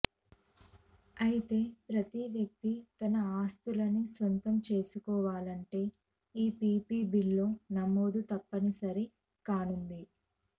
అయితే ప్రతి వ్యక్తి తన ఆస్తులను సొంతం చేసుకొవాలంటే ఈపీపీబీలో నమోదు తప్పని సరి కానుంది